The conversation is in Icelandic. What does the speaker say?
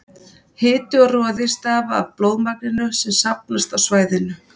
hiti og roði stafa af blóðmagninu sem safnast á svæðið